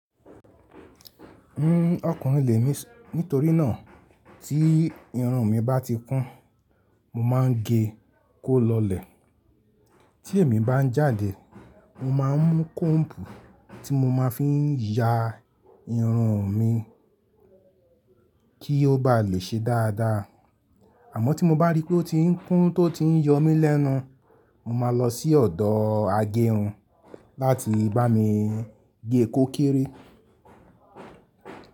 N, ọkùnrin lè mí nítorí náà tí irun mi bá ti kún, mo máa ń gé kó lọlẹ̀. Tí èmi bá ń jáde, mo máa ń mú kóòmbù tí mo máa ń fi ya irun mi kí ó bá lè ṣe dáadáa. Àmọ́ tí mo bá rí pé ó ti ń kún tó ti ń yọ mí lẹ́nu, mo máa lọ sí ọ̀dọ̀ agẹrun láti bá mi gé e kó kere.